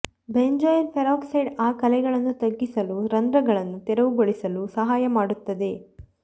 benzoyl peroxide ಆ ಕಲೆಗಳನ್ನು ತಗ್ಗಿಸಲು ರಂಧ್ರಗಳನ್ನು ತೆರವುಗೊಳಿಸಲು ಸಹಾಯ ಮಾಡುತ್ತದೆ